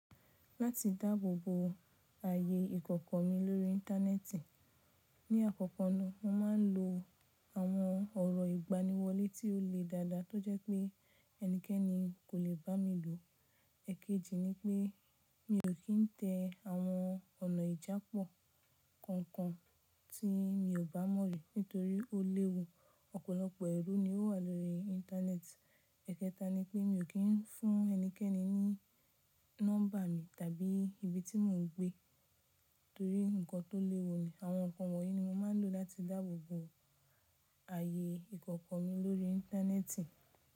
Láti dáàbò bo ààyè ìkọ̀kọ̀ mi lórí íńtánẹ́ẹ̀tì, ní àkọ́kọ́ ná mo máa ń lo àwọn ọ̀rọ̀ ìgbaniwọlé tí ó le dáadáa tó jẹ́ pé ẹnikẹ́ni kò lè bá mi lò. Ẹ̀ẹ̀jejì ni pé mi ò kí ń tẹ àwọn ọ̀nà ìjápọ̀ kankan tí mi ò bá mọ̀ rí nítorí ó léwu, ọ̀pọ̀lọpọ̀ ẹ̀rú ni ó wà lórí íńtánẹ́ẹ̀tì. Ẹ̀ẹ̀kẹta ni pé mi ò kín ń fún ẹnikẹ́ni ní nọ́mbà mi tàbí ibi tí mò ń gbé nítorí nǹkan tó léwu ni. Àwọn nǹkan wọ̀nyí ni mo máa ń lò láti dáàbò bo ààyè ìkọ̀kọ̀ mi lórí íńtánẹ́ẹ̀tì.